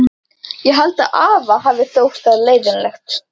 Ég held að afa hafi þótt það leiðinlegt.